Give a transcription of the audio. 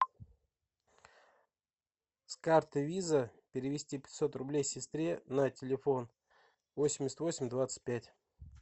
с карты виза перевести пятьсот рублей сестре на телефон восемьдесят восемь двадцать пять